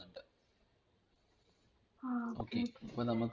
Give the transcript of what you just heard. ആ okay